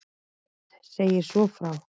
Knud segir svo frá